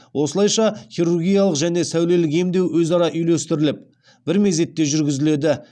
осылайша хирургиялық және сәулелік емдеу өзара үйлестіріліп бір мезетте жүргізіледі